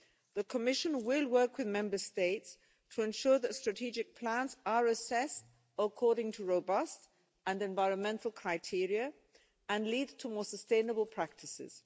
CAP, the Commission will work with Member States to ensure that strategic plans are assessed according to robust and environmental criteria and lead to more sustainable practices.